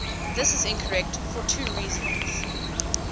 this is incorrect for two reasons